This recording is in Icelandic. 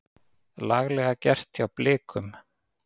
Laglega gert hjá Blikum.